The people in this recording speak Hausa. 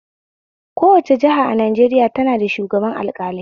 Kowace jiha a Najeriya tana da shugaban alƙalai